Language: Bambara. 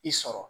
I sɔrɔ